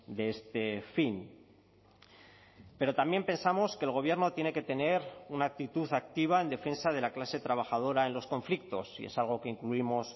de este fin pero también pensamos que el gobierno tiene que tener una actitud activa en defensa de la clase trabajadora en los conflictos y es algo que incluimos